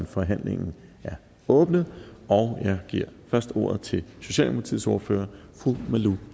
forhandlingen er åbnet og jeg giver først ordet til socialdemokratiets ordfører fru malou